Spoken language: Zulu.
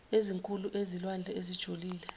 ezinkulu ezilwandle ezijulile